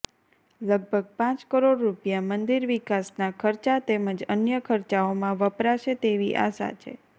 લગભગ પાંચ કરોડ રૂપ્યા મંદિર વિકાસના ખર્ચા તેમજ અન્ય ખર્ચાઓમાં વપરાશે તેવી આશા છે